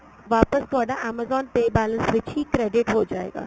ਵਾਪਸ ਤੁਹਾਡਾ amazon pay balance ਵਿੱਚ ਹੀ credit ਹੋ ਜਾਏਗਾ